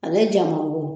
Ale ja mango